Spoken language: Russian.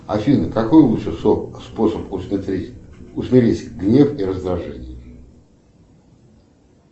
афина какой лучший способ усмирить гнев и раздражение